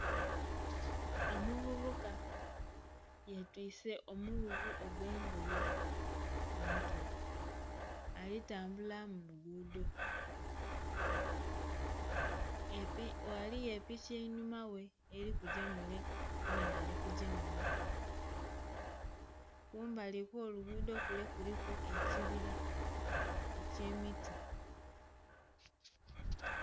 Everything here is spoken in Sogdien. Omuvubuka ye twise omu gugu ogwe ngoye ku mutwe ali tambula mu lugudho, ghaligho epiki einhuma ghe eri kugya mule mwenhe ali kugya munho kumbali kwo lugudho kule kuliku ekibira ekye miti.